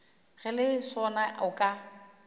ge le sona o ka